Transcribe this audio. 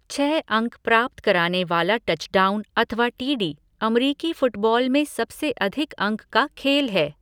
छह अंक प्राप्त कराने वाला टचडाउन अथवा टी डी , अमरीकी फ़ुटबॉल में सबसे अधिक अंक का खेल है।